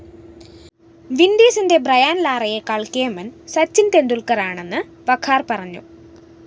വിന്‍ഡീസിന്റെ Brian‍ ലാറയെക്കാള്‍ കേമന്‍ സച്ചിന്‍ ടെന്‍ഡുല്‍ക്കറാണെന്ന് വഖാര്‍ പറഞ്ഞു